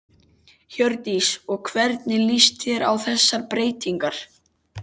Hjördís: Og hvernig líst þér á þessar breytingar?